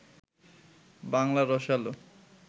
বাংলা রসালো